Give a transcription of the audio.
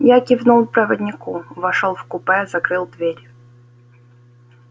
я кивнул проводнику вошёл в купе закрыл дверь